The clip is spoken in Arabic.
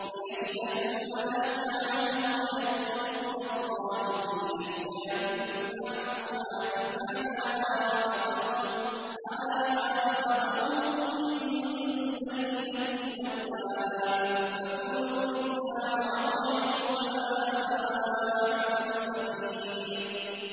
لِّيَشْهَدُوا مَنَافِعَ لَهُمْ وَيَذْكُرُوا اسْمَ اللَّهِ فِي أَيَّامٍ مَّعْلُومَاتٍ عَلَىٰ مَا رَزَقَهُم مِّن بَهِيمَةِ الْأَنْعَامِ ۖ فَكُلُوا مِنْهَا وَأَطْعِمُوا الْبَائِسَ الْفَقِيرَ